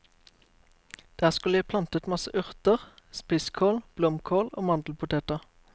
Der skulle jeg plantet masse urter, spisskål, blomkål og mandelpoteter.